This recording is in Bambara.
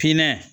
Pinɛ